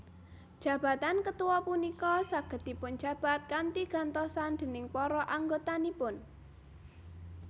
Jabatan ketua punika saged dipunjabat kanthi gantosan déning para anggotanipun